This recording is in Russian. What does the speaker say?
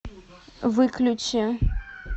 выключи